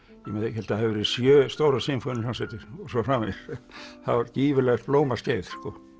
ég held að það hafi verið sjö stórar sinfóníuhljómsveitir og svo framvegis það var gífurlegt blómaskeið